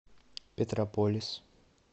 петрополис